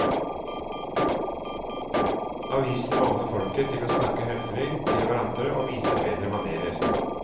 Avisen maner folket til å snakke høflig til hverandre og vise bedre manérer.